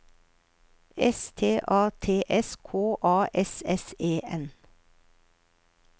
S T A T S K A S S E N